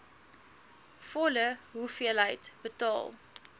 volle hoeveelheid betaal